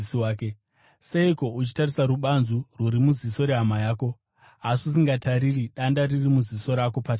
“Seiko uchitarisa rubanzu rwuri muziso rehama yako, asi usingatariri danda riri muziso rako pachako?